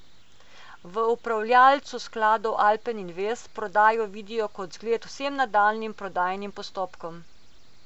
V upravljavcu skladov Alpen Invest prodajo vidijo kot zgled vsem nadaljnjim prodajnim postopkom.